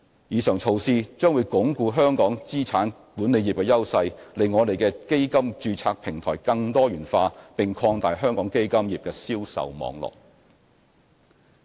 以上措施將鞏固香港資產管理業的優勢、令我們的基金註冊平台更多元化，並擴大香港基金業的銷售網絡。